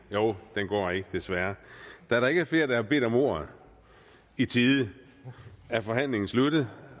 den går ikke desværre da der ikke er flere der har bedt om ordet i tide er forhandlingen sluttet